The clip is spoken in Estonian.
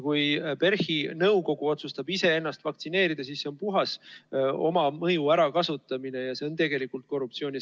Kui PERH-i nõukogu otsustab iseennast vaktsineerida, siis see on puhas oma mõju ärakasutamine ja see on tegelikult korruptsioon.